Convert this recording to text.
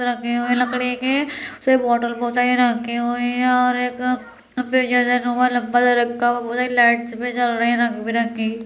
रखे हुए लकड़ी के सिर्फ वाटर बोतल ही रखे हुए है और एक पीछे से वो लम्बा सा रखा हुआ है | उधर लाइट भी जल रही है रंग बिरंगी।